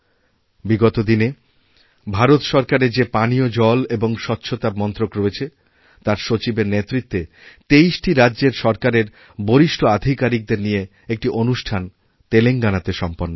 বিগত দিনে ভারত সরকারের যে পানীয় জল এবং স্বচ্ছতা মন্ত্রক রয়েছে তারসচিবের নেতৃত্বে ২৩টি রাজ্যের সরকারের বরিষ্ঠ আধিকারিকদের নিয়ে একটি অনুষ্ঠানতেলেঙ্গানাতে সম্পন্ন হল